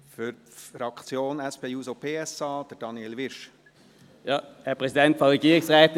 Für die SP-JUSO-PSA-Fraktion spricht Daniel Wyrsch.